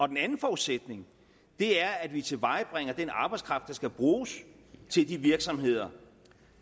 den anden forudsætning er at vi tilvejebringer den arbejdskraft der skal bruges til de virksomheder